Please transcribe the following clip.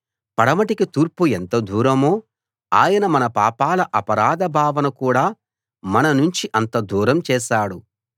పడమటికి తూర్పు ఎంత దూరమో ఆయన మన పాపాల అపరాధ భావన కూడా మననుంచి అంత దూరం చేశాడు